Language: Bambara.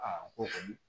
ko kɔni